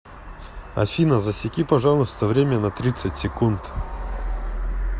афина засеки пожалуйста время на тридцать секунд